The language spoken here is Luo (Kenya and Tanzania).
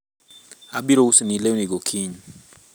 abiro uso ni lewni go kiny